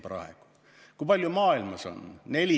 Kui palju maailmas on?